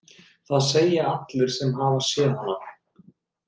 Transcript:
Það segja það allir sem hafa séð hana.